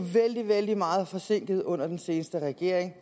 vældig meget forsinket under den sidste regering